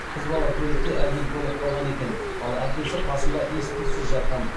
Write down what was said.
қыз бала көлікте әбден тоңып қалған екен ал әкесі қасында ес түзсіз жатқан